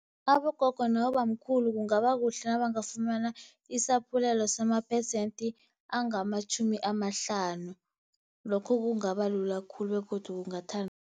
Abogogo nabobamkhulu kungabakuhle nabangafumana isaphulelo, samaphesenti angamatjhumi amahlanu. Lokho kungabalula khulu begodu